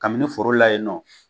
Kabini foro la yen nɔ